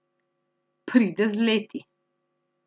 Pride z leti.